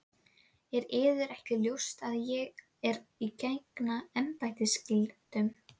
Er yður ekki ljóst að ég er að gegna embættisskyldum?